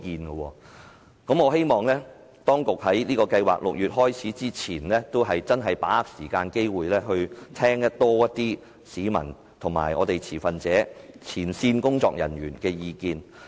因此，我希望當局會在6月展開有關計劃前，把握時間和機會聽取更多市民、持份者和前線工作人員的意見。